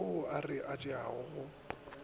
ao re a tšeago go